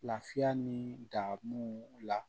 Lafiya ni damu la